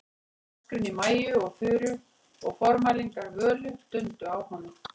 Öskrin í Maju og Þuru og formælingar Völu dundu á honum.